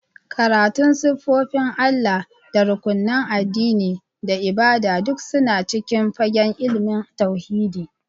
Karatun sifofin Allah, da rukunan addini, da ibada duk suna cikin fagen ilimin tauhidi.